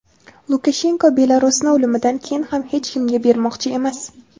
Lukashenko Belarusni o‘limidan keyin ham hech kimga bermoqchi emas.